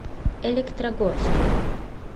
электрогорску